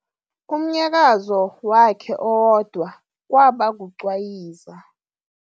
Umnyakazo wakhe owodwa kwaba kucwayiza.